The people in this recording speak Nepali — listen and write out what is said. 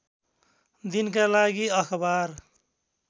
दिनका लागि अखबार